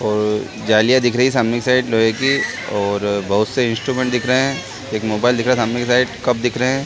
अ जालियाँ दिख रही है सामने की साइड लोहे की और बहोत से इंस्टुमेंट दिख रहे है एक मोबाईल दिख रहा है सामने के साइड कप दिख रहे है।